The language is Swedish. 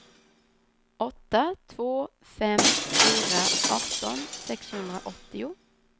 åtta två fem fyra arton sexhundraåttio